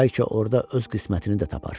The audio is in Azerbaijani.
Bəlkə orda öz qismətini də tapar.